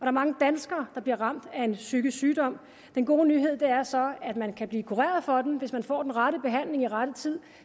er mange danskere der bliver ramt af psykisk sygdom den gode nyhed er så at man kan blive kureret for den hvis man får den rette behandling i rette tid